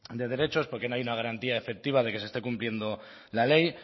de derechos porque no hay una garantía efectiva de que se esté cumpliendo la ley